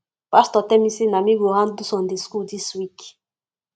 pastor tell me say na me go handle sunday school dis week